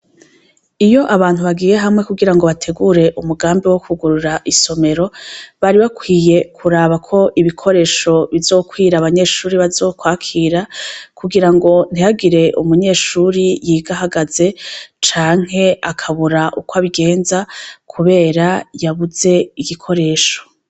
Iyo abantu bagiye hamwe kugira ngo bategure umugambi wo kwugurura isomemero, bari bakwiye kuraba ko ibikoresho bizokwir’abanyeshuri bazokwakira kugirango ntihagire umunyeshure yiga ahagaze canke akabura ukwabigenza kubera yabuze igikoresho.